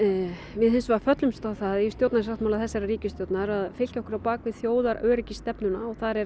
við hins vegar föllumst á það í stjórnarsáttmála ríkisstjórnarinnar að fylkja okkur á bak við þjóðaröryggisstefnuna og þar er